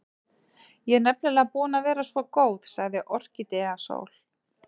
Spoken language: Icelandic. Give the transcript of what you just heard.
Ég er nefnilega búin að vera svo góð, sagði Orkídea Sól.